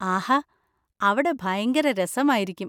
ആഹാ, അവിടെ ഭയങ്കര രസമായിരിക്കും.